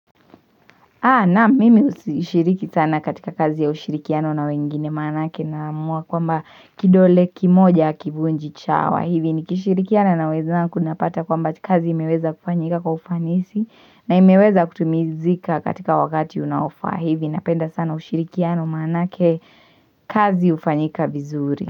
Naam mimi hushiriki sana katika kazi ya ushirikiano na wengine manake naamua kwamba kidole kimoja hakivunji chawa hivi ni kishirikiana na wezangu napata kwamba kazi imeweza kufanyika kwa ufanisi na imeweza kutimizika katika wakati unaofaa hivi napenda sana ushirikiano manake kazi ufanyika vizuri.